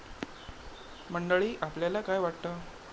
मंडळी, आपल्याला काय वाटतं?